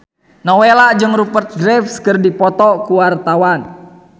Nowela jeung Rupert Graves keur dipoto ku wartawan